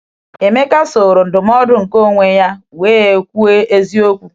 Emeka soro um ndụmọdụ nke onwe ya wee um kwuo eziokwu.